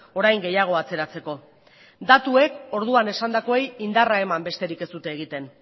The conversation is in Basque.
orain gehiago atzeratzeko datuek orduan esandakoei indarra eman besterik ez dute egiten